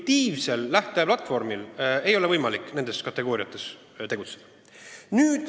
Intuitiivsel lähteplatvormil seistes ei ole võimalik nendes kategooriates tegutseda.